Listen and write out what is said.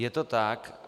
Je to tak.